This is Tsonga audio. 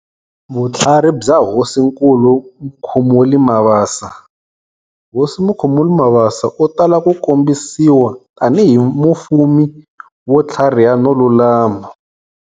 Vutlhari bya Hosinkulu Mukhumuli Mabasa-Hosi Mukhumuli Mabasa u tala ku kombisiwa tanihi mufumi wo tlhariha no lulama.